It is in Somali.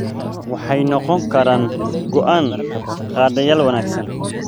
Waxay noqon karaan go'aan-qaadayaal wanaagsan.